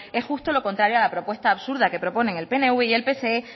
es justo lo contrario a la propuesta absurda que proponen el pnv y el pse